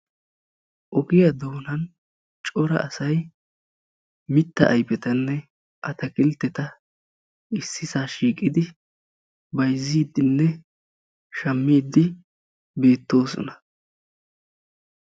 Ogiya doonaani Cora asay mitta ayfettanne atakkiltteta ississaa shiiqiidi bayzziiddinne shammiidi beettoosona.